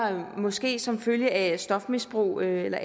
måske som følge af stofmisbrug eller